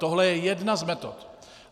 Tohle je jedna z metod.